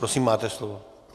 Prosím, máte slovo.